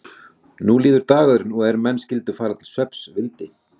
Nú líður dagurinn og er menn skyldu fara til svefns vildi